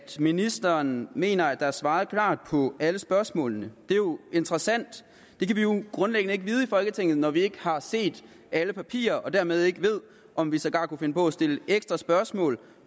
ministeren mener at der er svaret klart på alle spørgsmålene det er jo interessant det kan vi jo grundlæggende ikke vide i folketinget når vi ikke har set alle papirer og dermed ikke ved om vi sågar kunne finde på at stille ekstra spørgsmål